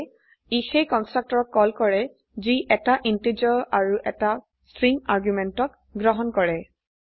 সেয়ে কন্সট্ৰকটৰক কল কৰে যি 1 টা ইন্টিজাৰ আৰু 1 টা স্ট্ৰিং argumenত গ্ৰহণ কৰে